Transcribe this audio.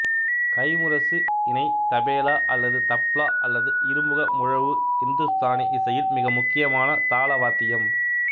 கைம்முரசு இணை தபேலா அல்லது தப்லா அல்லது இருமுக முழவு இந்துஸ்தானி இசையில் மிக முக்கியமான தாள வாத்தியம்